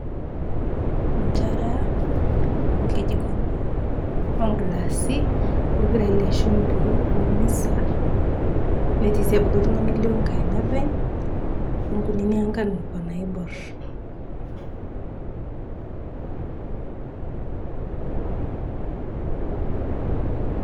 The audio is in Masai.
Nsharaa, oo lkejikoni, oo glassi, oo lpirai le shumpii, oo misa netii sii abaki ltung'ane ,o lio ngaina apeny, oo nkunini angan nenenia naibor.